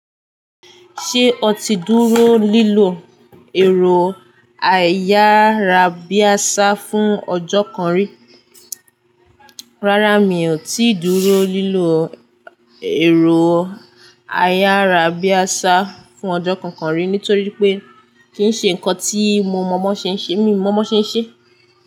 Ṣé o ti dúró lílọ èrò ayárábiàsà fún ọjọ́ kan rí? Rárá mio tí dúró lilo ẹ̀rọ ayarabiasa fún ọjọ́ kankan ri nitori wípé kin ṣe nkan ti mo mọ bọn ṣe n ṣe mi mọ bòn ṣe n ṣe.